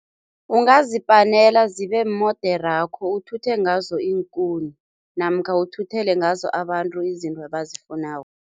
Ungazipanela zibe moderakho, uthuthe ngazo iinkuni namkha uthuthele ngazo abantu izinto abazifunako.